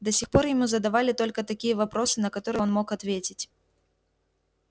до сих пор ему задавали только такие вопросы на которые он мог ответить